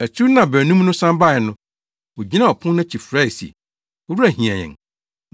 “Akyiri no a baanum no san bae no, wogyinaa ɔpon no akyi frɛe se, ‘Owura, hiɛ yɛn!’